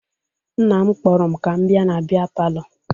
Nna m kpọrọ m ka m bịa na bịa palọ